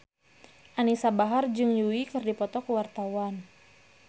Anisa Bahar jeung Yui keur dipoto ku wartawan